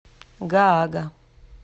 гаага